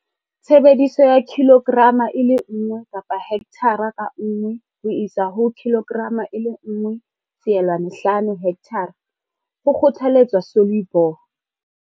Tshebediso ya 1 kg per hekthara ka nngwe ho isa ho 1, 5 kg hekthara, ho kgothaletswa Solubor.